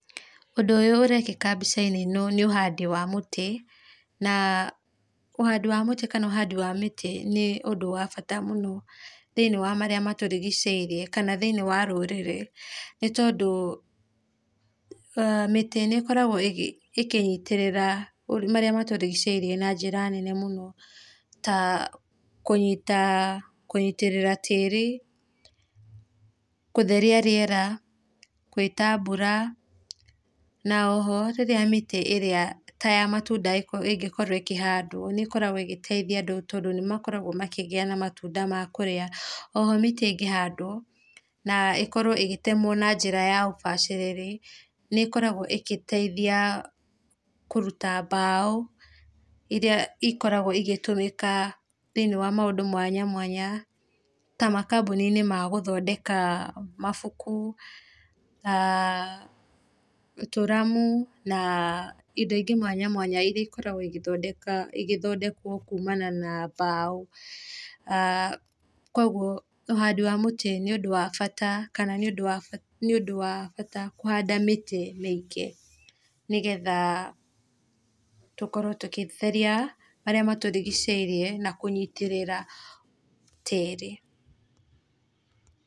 Ũndũ ũyũ ũrekĩka mbicainĩ ĩno nĩ ũhandi wa mũtĩ na [uhh],ũhandi wa mũtĩ kana ũhandi wa mĩtĩ nĩ ũndũ wa bata mũno thĩinĩ wa marĩa matũrigĩcĩirie kana thĩinĩ wa rũrĩrĩ, nĩtondũ mĩtĩ nĩkoragwa ĩkĩnyitĩrĩra marĩa matũrigicĩirie na njĩra nene mũno ta[uh] kũnyitĩrĩra tĩri, kũtheria rĩera, gwĩta mbura, na oho rĩrĩa mĩtĩ ĩrĩa ta ya matunda ĩngĩkorwo ĩkĩhandwo nĩkoraga ĩgĩtheithia andũ tondũ, nĩmakoragwo makĩgĩa na matunda makũrĩa, oho mĩtĩ ĩkĩhandwo na ĩkorwe ĩgĩtemwo na jĩra ya ũbacĩrĩri nĩkoragwo ĩgĩteithia kũruta mbao, irĩa ikoragwo igĩtũmĩka thĩinĩ wa maũndũ mwanya mwanya ta makambuninĩ ma kũthondeka mabuku,[Uh],tũramu na[uhh] na ingo ingĩ mwanya mwanya iria íikoragwo igĩthondekwo kũmana na mbao [uhh],kwoguo ũhandi wa mũtĩ nĩũndũ wa bata kana nĩ ũndũ bata kũhanda mĩtĩ mĩingĩ nĩgetha tũkorwo tũkĩtheria marĩa matũrigiceirie na kũnyitĩrĩra tĩri.